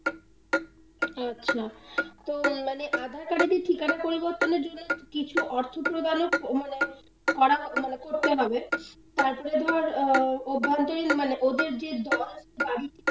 আচ্ছা তো মানে aadhaar card এর ঠিকানা পরিবর্তনর জন্য কিছু অর্থ প্রদানো মানে করা মানে করতে হবে তারপরে ধর অভ্যন্তরীণ মানে ওদের যে দল, বাড়ির,